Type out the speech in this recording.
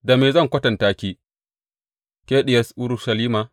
Da me zan kwatanta ki, ke Diyar Urushalima?